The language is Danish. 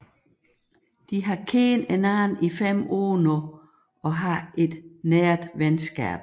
De har kendt hinanden i fem år nu og har et nært venskab